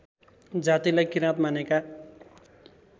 जातिलाई किराँत मानेका